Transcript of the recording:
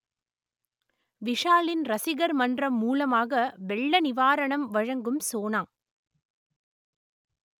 விஷாலின் ரசிகர் மன்றம் மூலமாக வெள்ள நிவாரணம் வழங்கும் சோனா